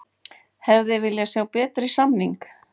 Hefði viljað sjá betri samning